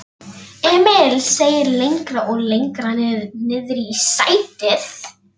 Emil seig lengra og lengra niðrí sætið.